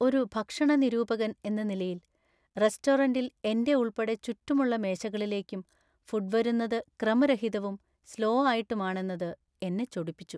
ഒരു ഭക്ഷണ നിരൂപകൻ എന്ന നിലയിൽ, റെസ്റ്റോറന്‍റില്‍ എന്‍റെ ഉൾപ്പെടെ ചുറ്റുമുള്ള മേശകളിലേക്കും ഫുഡ് വരുന്നത് ക്രമരഹിതവും, സ്ലോ ആയിട്ടും ആണെന്നത് എന്നെ ചൊടിപ്പിച്ചു.